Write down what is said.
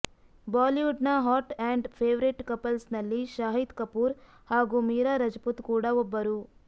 Bollywood ನ hot and favourite couples ನಲ್ಲಿ ಶಾಹಿದ್ ಕಪೂರ್ ಹಾಗೂ ಮೀರಾ ರಜಪುತ್ ಕೂಡ ಒಬ್ಬರು